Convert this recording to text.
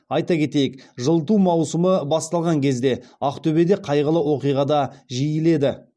айта кетейік жылыту маусымы басталған кезде ақтөбеде қайғылы оқиға да жиіледі